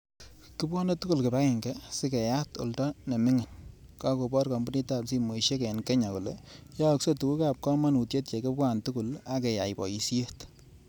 Kebwoni tugul kibagenge sigeyat oldo nimining', kakoboor kampuniit ap simoisiek eng' kenya kole yaakse tuguk ap kamanutyekibwaa tugul akeyai paisyet .